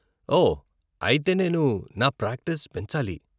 ఓహ్, అయితే నేను నా ప్రాక్టీస్ పెంచాలి.